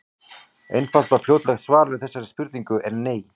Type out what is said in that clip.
Einfalt og fljótlegt svar við þessari spurningu er nei.